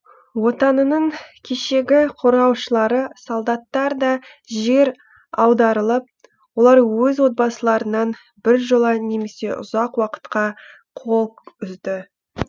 отанының кешегі корғаушылары солдаттар да жер аударылып олар өз отбасыларынан біржола немесе ұзақ уакытқа қол үзді